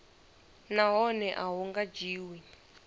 nahone a hu nga dzhiwi